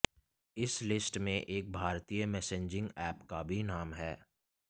इस लिस्ट में एक भारतीय मैसेंजिंग ऐप का भी नाम है